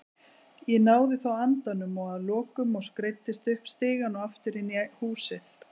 Ég náði þó andanum að lokum og skreiddist upp stigann og aftur inn í húsið.